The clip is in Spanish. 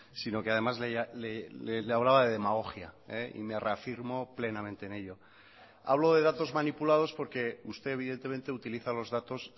si no que además le hablaba de demagogia y me reafirmo plenamente en ello hablo de datos manipulados porque usted evidentemente utiliza los datos